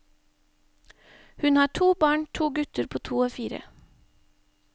Hun har to barn, to gutter på to og fire.